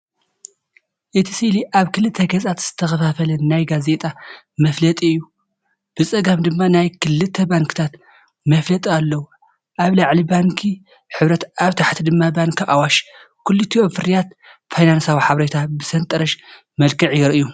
እቲ ስእሊ ኣብ ክልተ ገጻት ዝተኸፋፈለ ናይ ጋዜጣ መፋለጢ እዩ። ብጸጋም ድማ ናይ ክልተ ባንክታት መፋለጢ ኣለዉ፤ ኣብ ላዕሊ ባንኪ ሂበርት ኣብ ታሕቲ ድማ ባንኪ ኣዋሽ። ክልቲኦም ፍርያት ፋይናንሳዊ ሓበሬታን ብሰንጠረዥ መልክዕ የርእዩ።